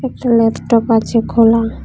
Laptop আছে খোলা।